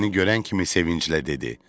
Məni görən kimi sevinclə dedi: